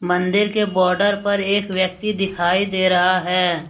मंदिर के बॉर्डर पर एक व्यक्ति दिखाई दे रहा है।